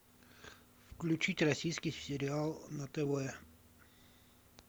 включить российский сериал на тв